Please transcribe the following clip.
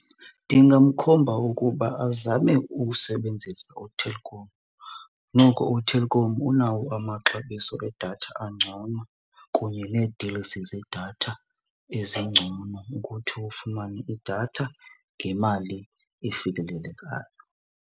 Ndingamkhomba ukuba azame ukusebenzisa uTelkom, noko uTelkom unawo amaxabiso edatha angcono kunye nee-deals zedatha ezingcono ukuthi ufumane idatha ngemali efikelelekayo.